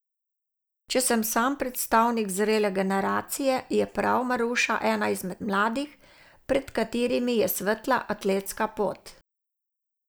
Če sem sam predstavnik zrele generacije, je prav Maruša ena izmed mladih, pred katerimi je svetla atletska pot.